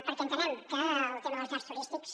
perquè entenem que el tema de les llars turístiques